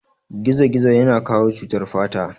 Gizogizo ya na kawo cutar fata